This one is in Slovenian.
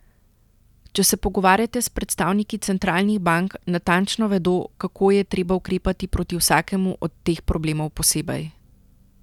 Če se pogovarjate s predstavniki centralnih bank, natančno vedo, kako je treba ukrepati proti vsakemu od teh problemov posebej.